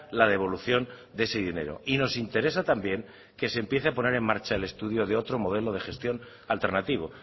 la devolución de ese dinero y nos interesa también que se empiece a poner en marcha el estudio de otro modelo de gestión alternativo